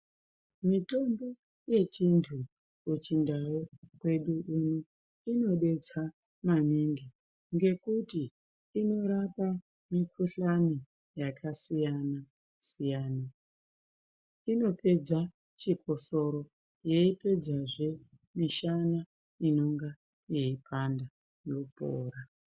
Mitombo yechintu kuchindau kwedu uno inodetsa maningi ngekuti inorapa mikuhlani yakasiyana siyana inopedza chikosoro yeipedzazve mishana inonga yeipanda yopora.